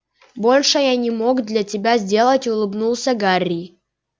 большего я не мог для тебя сделать улыбнулся гарри